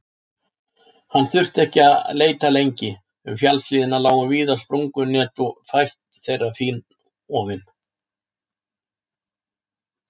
Hann þurfti ekki að leita lengi, um fjallshlíðina lágu víða sprungunet og fæst þeirra fínofin.